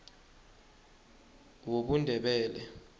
wobundebele